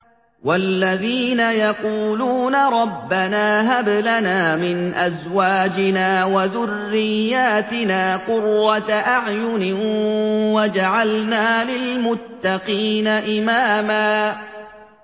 وَالَّذِينَ يَقُولُونَ رَبَّنَا هَبْ لَنَا مِنْ أَزْوَاجِنَا وَذُرِّيَّاتِنَا قُرَّةَ أَعْيُنٍ وَاجْعَلْنَا لِلْمُتَّقِينَ إِمَامًا